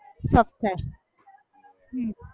soft થાય હમ